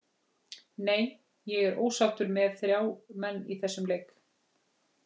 Nei, ég er ósáttur með þrjá menn í þessum leik.